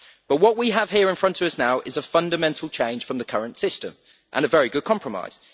But what we have here in front of us now is a fundamental change from the current system and a very good compromise.